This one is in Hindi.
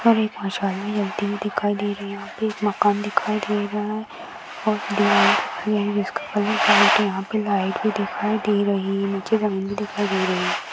उपर एक मशाल जलती हुई दिखाई दे रही है एक मकान दिखाई दे रहा है और दिया भी है जिसका कलर व्हाइट है यहा पे लाइट भी दिखाई दे रही है नीचे जमीन भी दिखाई दे रही है।